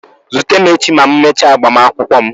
Zute m echi ma m mechaa agbamakwụkwọ m.